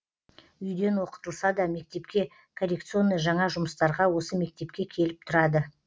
үйден оқытылса да мектепке коррекционный жаңа жұмыстарға осы мектепке келіп тұрады